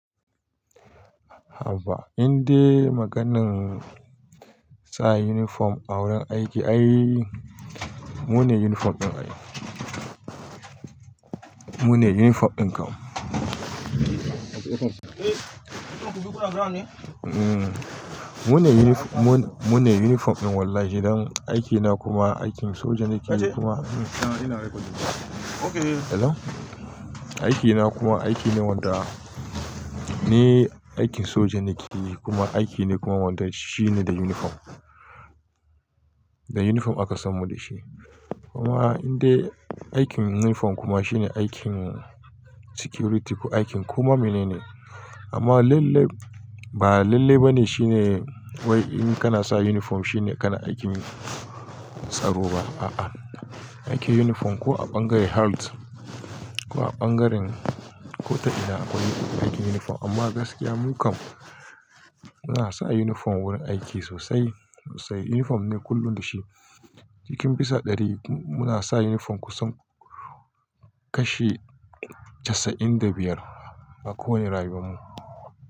Haba, indai maganin sa uniform a wurin aiki ai, mu ne uniform ɗin ai. Mu ne uniform ɗin kam. Mune unifo mun mune uniform ɗin wallahi, don aikina kuma, aikin soja na keyi kuma Hello. Aikina kuma aiki ne wanda, ni aikin soja na keyi kuma aiki ne kuma wanda shine da uniform. Da uniform aka san mu da shi. Kuma indai aikin uniform kuma shine aikin security ko aikin koma mene ne. Amma lalle ba lalle ba ne shine wai in kana sa uniform shine kana aikin tsaro ba. A'a, aikin uniform ko a ɓangare halt ko a ɓangaren ko ta ina akwai aikin uniform. Amma gaskiya mu kam muna sa uniform wurin aiki sosai, sosai. Uniform ne kullum da shi. Cikin bisa ɗari muna sa uniform kusan kashi casa'in da biyar a kowane rayuwan mu.